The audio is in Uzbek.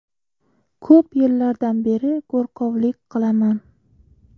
Ko‘p yillardan beri go‘rkovlik qilaman.